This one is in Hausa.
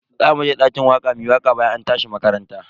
Zamu je dakin waka muyi waka bayan an tashi makaranta.